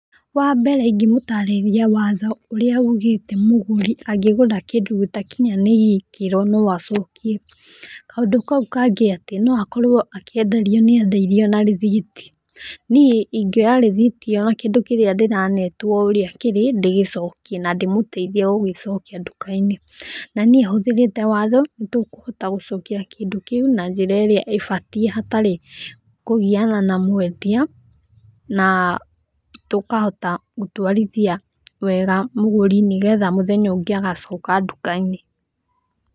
Wambere ingĩ mũtarĩria watho ũria ũgĩte mũgũrĩ angĩgũra kĩndũ gitakĩnyanĩirie ikĩro no acokie, kaũndũ kau kangĩ atĩ no akorwo akĩenderio nĩ endia na rĩthiti, niĩ ingĩoya rĩthiti ĩyo ya kĩndũ kĩria ndĩranetwo ũria kĩrĩ ndĩgĩcokie na ndĩmũteithie gũgĩcokia nduka-inĩ na niĩ hũthĩrite watho nĩtũkũhota gũcokia kĩndũ kĩu na njĩra ĩria ĩbatie hatarĩ kũgiana na mwendia ,na tũkahota gũtwarithia wega mũgũri nĩgetha mũthenya ũngĩ agacoka nduka-inĩ.